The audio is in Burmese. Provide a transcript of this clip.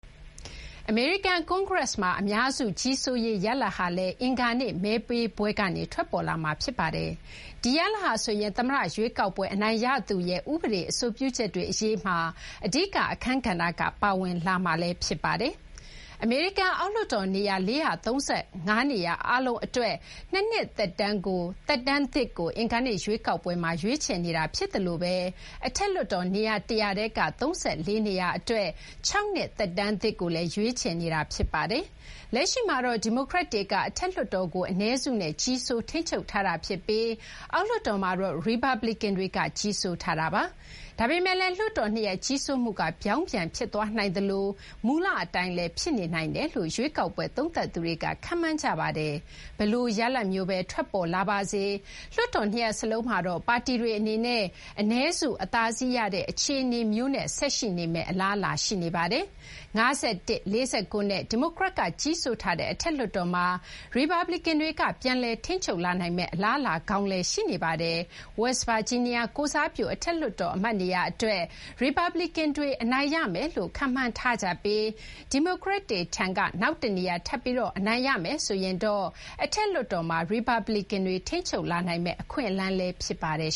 အမေရိကန် ကွန်ဂရက်မှာ အများစု ကြီးစိုးရေး ရလဒ်ဟာလည်း အင်္ဂါနေ့ မဲပေးပွဲကနေ ထွက်ပေါ်လာမှာ ဖြစ်ပါတယ်။ ဒီရလဒ်ဟာဆိုရင် သမ္မတ ရွေးကောက်ပွဲ အနိုင်ရသူရဲ့ ဥပဒေ အဆိုပြုချက်တွေ အရေးမှာ အဓိက အခန်းကဏ္ဍက ပါဝင်လာမှာလည်း ဖြစ်ပါတယ်။ အမေရိကန် အောက်လွှတ်တော် နေရာ ၄၃၅ နေရာ အားလုံး အတွက် ၂ နှစ်သက်တမ်းသစ်ကို အင်္ဂါနေ့ ရွေးကောက်ပွဲမှာ ရွေးချယ်နေတာ ဖြစ်သလို အထက်လွှတ်တော် နေရာ ၁၀၀ ထဲက ၃၄ နေရာ အတွက် ၆ နှစ် သက်တမ်းသစ်ကိုလည်း ရွေးချယ်နေတာ ဖြစ်ပါတယ်။ လက်ရှိမှာတော့ ဒီမိုကရက်တွေက အထက်လွှတ်တော်ကို အနည်းစုနဲ့ ကြီးစိုး ထိန်းချုပ်ထားတာ ဖြစ်ပြီး အောက်လွှတ်တော်မှာတော့ ရီပတ်ပလီကန်တွေက ကြီးစိုးထားတာပါ။ ဒါပေမဲ့လည်း လွှတ်တော်နှစ်ရပ် ကြီးစိုးမှုက ပြောင်းပြန်ဖြစ်သွားနိုင်သလို မူလ အတိုင်းလည်း ဖြစ်နိုင်တယ်လို့ ရွေးကောက်ပွဲ သုံးသပ်သူတွေက ခန့်မှန်းထားကြပါတယ်။ ဘယ်လိုရလဒ်မျိုးဘဲ ထွက်ပေါ်လာပါစေ၊ လွှတ်တော် ၂ ရပ်စလုံးမှာတော့ ပါတီတွေ အနေနဲ့ အနည်းစု အသာစီး ရတဲ့ အခြေအနေမျိုး ဆက်ရှိနေမယ့် အလားအလာရှိပါတယ်။ ၅၁- ၄၉ နဲ့ ဒီမိုကရက်တွေက ကြီးစိုးထားတဲ့ အထက်လွှတ်တော်မှာ ရီပတ်ပလီကန်တွေက ပြန်လည် ထိန်းချုပ်လာနိုင်မယ့် အလားအလာကောင်းလည်း ရှိနေပါတယ်။ West Virginia ကိုယ်စားပြု အထက်လွှတ်တော် အမတ်နေရာ အတွက် ရီပတ်ပလီကန်တွေ အနိုင်ရမယ်လို့ ခန့်မှန်းထားကြပြီး ဒီမိုကရက်တွေထံက နောက်တနေရာ ထပ်ပြီး အနိုင်ရမယ်ဆိုရင်တော့ အထက်လွှတ်တော်မှာ ရီပတ်ပလီကန်တွေ ထိန်းချုပ်နိုင်မယ့် အခွင့်အလမ်း ဖြစ်ပါတယ်